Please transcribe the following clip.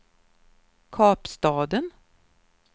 Kapstaden